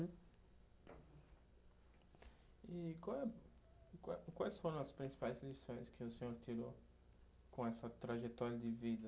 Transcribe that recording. E qual é, qual é, quais foram as principais lições que o senhor tirou com essa trajetória de vida?